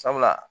Sabula